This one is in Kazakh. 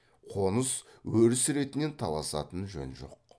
қоныс өріс ретінен таласатын жөн жоқ